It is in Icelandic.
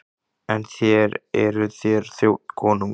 En þér, eruð þér þjónn konungs?